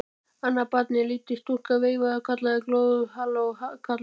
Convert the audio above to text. Annað barnið, lítil stúlka, veifaði og kallaði glöð: Halló kallar!